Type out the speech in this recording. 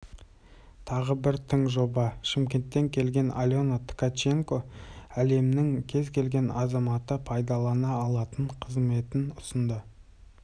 елімізде инноваторлардың жаңа буыны өсті енді құны бірнеше миллиондық технологиялық жобаларға жол ашылады шетелдік инвесторлар да қызығушылық білдіріп жатыр